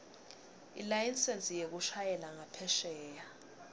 ilayisensi yekushayela ngaphesheya